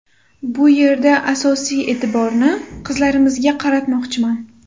Bu yerda asosiy e’tiborni qizlarimizga qaratmoqchiman.